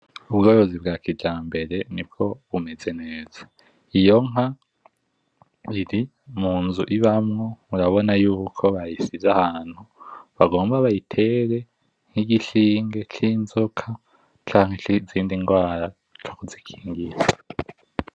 Ubworozi bwa kijamaber nibwo bumeze neza, iyo nka iri munzu ibamwo murabona yuko bayishize ahantu bagomba bayitere nkigishinge cinzoka canka cinrwara co kuzikingira.